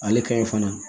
Ale ka ɲi fana